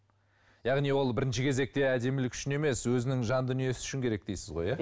яғни ол бірінші кезекте әдемілік үшін емес өзінің жан дүниесі үшін керек дейсіз ғой иә